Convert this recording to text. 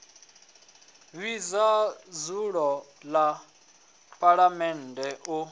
vhidza dzulo ḽa phaḽamennde u